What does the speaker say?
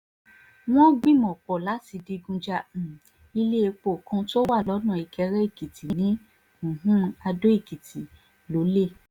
wọ́n gbìmọ̀-pọ̀ láti digun ja um ilé-èpò kan tó wà lọ́nà ìkéré-èkìtì ní um àdó-èkìtì lọ́lẹ̀